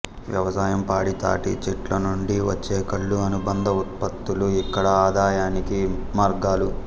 వ్యవసాయం పాడి తాటి చెట్ల నుండి వచ్చే కల్లు అనుబంధ ఉత్పత్తులు ఇక్కడ ఆదాయానికి మార్గాలు